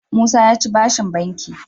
Musa yaci bashin banki